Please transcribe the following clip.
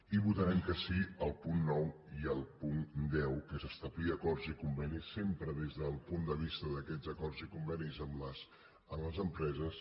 i votarem que sí al punt nou i al punt deu que és establir acords i convenis sempre des del punt de vista d’aquests acords i convenis amb les empreses